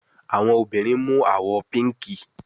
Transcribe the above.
Àwọn obìrin mu àwò píìnkí